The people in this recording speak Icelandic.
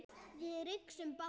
Við rigsum báðar.